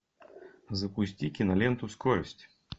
запусти киноленту скорость